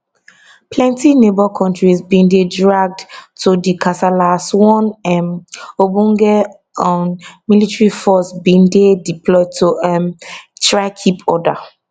plenti neighbour kontris bin dey dragged to di kasala as one um ogbonge un military force bin dey deployed to um try keep order